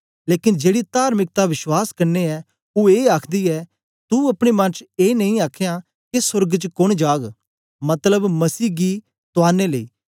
लेकन जेड़ी तार्मिकता विश्वास कन्ने ऐ ओ ए आखदी ऐ तू अपने मन च ए नेई आखेयां के सोर्ग च कोन जाग मतलब मसीह गी तुआरने लेई